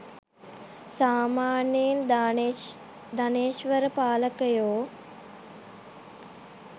සාමාන්‍යයෙන් ධනේෂ්වර පාලකයෝ